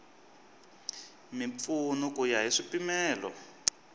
mimpfuno ku ya hi swipimelo